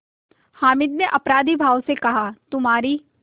हामिद ने अपराधीभाव से कहातुम्हारी